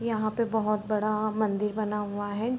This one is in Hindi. यहाँ पे बहोत बड़ा मंदिर बना हुआ है।